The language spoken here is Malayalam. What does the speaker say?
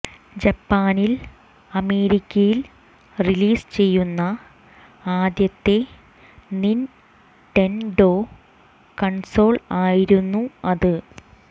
ജപ്പാനിൽ അമേരിക്കയിൽ റിലീസ് ചെയ്യുന്ന ആദ്യത്തെ നിൻഡെൻഡോ കൺസോൾ ആയിരുന്നു അത്